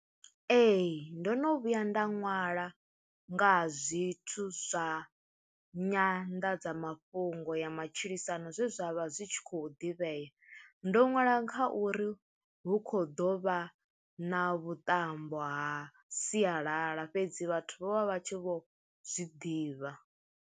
Ee ndo no vhuya nda ṅwala nga ha zwithu zwa Nyanḓadza mafhungo ya matshilisano zwe zwa vha zwi tshi khou ḓivhea, ndo nwala kha uri hu kho ḓo vha na vhuṱambo ha sialala fhedzi vhathu vho vha vha tshi vho zwiḓivha.